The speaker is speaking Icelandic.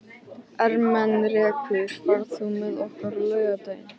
Ermenrekur, ferð þú með okkur á laugardaginn?